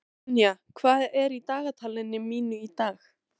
Ronja, hvað er í dagatalinu mínu í dag?